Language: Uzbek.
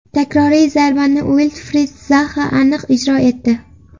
Takroriy zarbani Uilfrid Zaha aniq ijro etdi.